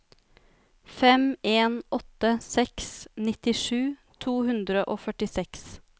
fem en åtte seks nittisju to hundre og førtiseks